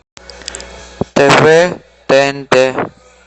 тв тнт